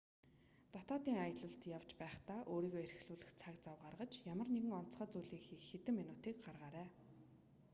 дотоодын аялалд явж байхдаа өөрийгөө эрхлүүлэх цаг зав гаргаж ямар нэгэн онцгой зүйлийг хийх хэдэн минутыг гаргаарай